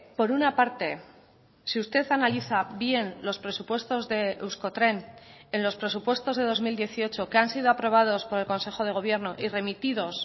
por una parte si usted analiza bien los presupuestos de euskotren en los presupuestos de dos mil dieciocho que han sido aprobados por el consejo de gobierno y remitidos